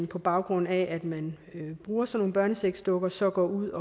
på baggrund af at man bruger sådanne børnesexdukker så går ud